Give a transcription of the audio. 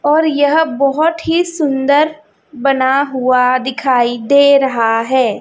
और यह बहोत ही सुंदर बना हुआ दिखाई दे रहा है।